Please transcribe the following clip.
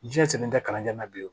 Diɲɛ selen tɛ kalanden na bilen